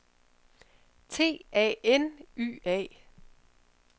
T A N Y A